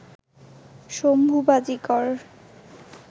Shambhu Bajikar